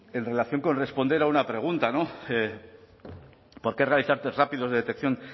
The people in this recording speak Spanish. en relación con responder a una pregunta no por qué realizar test rápidos de detección